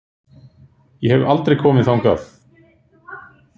Ég hef aldrei komið þangað.